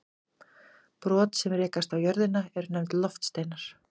Brot sem rekast á jörðina eru nefnd loftsteinar.